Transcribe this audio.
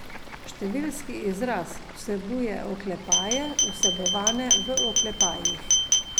Številski izraz vsebuje oklepaje, vsebovane v oklepajih.